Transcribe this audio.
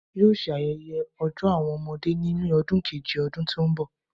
Yoo ṣe ayẹyẹ Ọjọ Awọn ọmọde ni May ogun keje ọdun ti n bọ